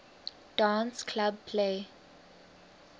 dance club play